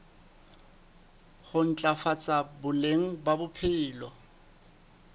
ho ntlafatsa boleng ba bophelo